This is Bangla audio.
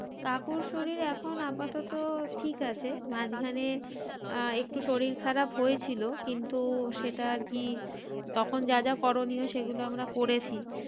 কাকুর শরীর এখন আপাতত ঠিক আছে মাঝখানে আহ একটু শরীর খারাপ হয়েছিল কিন্তু সেটা আর কি তখন যা যা করণীয় সেগুলো আমরা করেছি।